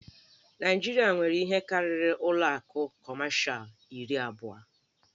Naịjirịa nwere ihe karịrị ụlọ akụ Kọmashal iri abụọ.